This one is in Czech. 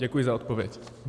Děkuji za odpověď.